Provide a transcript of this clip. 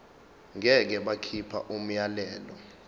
ngeke bakhipha umyalelo